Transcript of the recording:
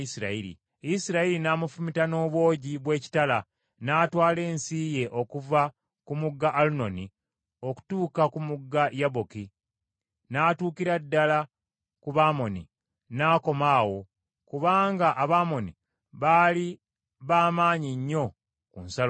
Isirayiri n’amufumita n’obwogi bw’ekitala, n’atwala ensi ye okuva ku mugga Alunoni okutuuka ku mugga Yaboki, n’atuukira ddala ku Bamoni, n’akoma awo, kubanga Abamoni baali ba maanyi nnyo ku nsalo yaabwe.